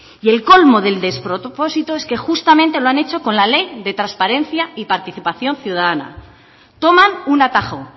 y el colmo del despropósito es que justamente lo han hecho con la ley de transparencia y participación ciudadana toman un atajo